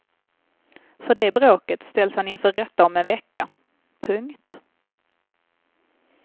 För det bråket ställs han inför rätta om en vecka. punkt